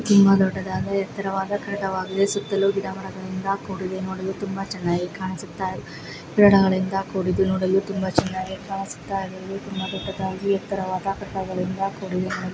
ತುಂಬ ದೊಡ್ಡದಾದ ಎತ್ತರವಾದ ಕಟ್ಟಡವಾಗಿದೆ ಗಿಡ ಮರಗಳಿಂದ ಕೂಡಿದೆ ನೋಡಲು ತುಂಬಾ ಚೆನ್ನಾಗಿ ಕಾಣಿಸುತ್ತ ನೋಡಲು ತುಂಬಾ ಚೆನ್ನಾಗಿ ಕಾಣಿಸುತ್ತ ಇದ್ದು ಗಿಡಗಳಿಂದ ಕೂಡಿದ್ದು ತುಂಬಾ ದೊಡ್ಡದಾದ ಬೆಟ್ಟಗಳಿಂದ --